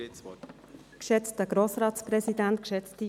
Grossrätin de Meuron, Sie haben das Wort.